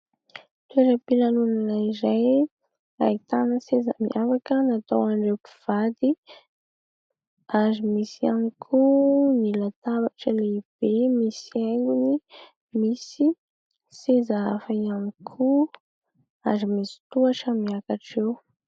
Toeram-pilanonana iray ahitana seza miavaka natao ho an'ireo mpivady. Ary misy ihany koa ny latabatra lehibe misy haingony ; misy seza hafa ihany koa ary misy tohatra miakatra eo.